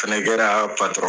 Sɛnɛkɛra o patɔrɔn.